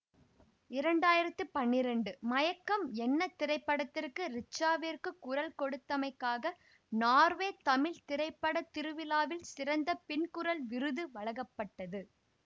இரண்டு ஆயிரத்தி பன்னிரெண்டு மயக்கம் என்ன திரைப்படத்திற்கு ரிச்சாவிற்கு குரல் கொடுத்தமைக்காக நார்வே தமிழ் திரைப்பட திருவிழாவில் சிறந்த பின்குரல் விருது வழங்கப்பட்டது